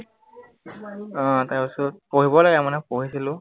আহ তাৰপিছত পঢ়িব লাগে মানে, পঢ়িছিলো